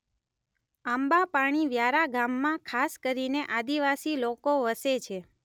આંબાપાણી વ્યારા ગામમાં ખાસ કરીને આદિવાસી લોકો વસે છે.